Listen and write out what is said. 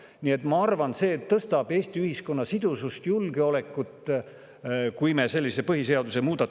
Nii et ma arvan, et sellise põhiseadusemuudatuse elluviimine tõstab Eesti ühiskonna sidusust ja julgeolekut.